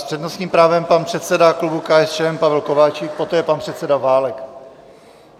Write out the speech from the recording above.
S přednostním právem pan předseda klubu KSČM Pavel Kováčik, poté pan předseda Válek.